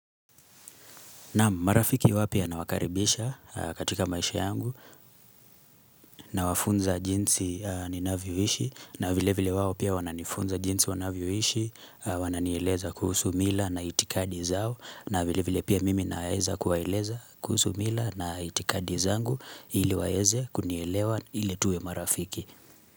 Naam, marafiki wapya nawakaribisha katika maisha yangu nawafunza jinsi ninavyoishi na vile vile wao pia wananifunza jinsi wanavyoishi, wananieleza kuhusu mila na itikadi zao na vile vile pia mimi naeza kuwaeleza kuhusu mila na itikadi zangu ili waeze kunielewa ili tuwe marafiki.